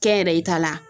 Kɛnyɛrɛye ta la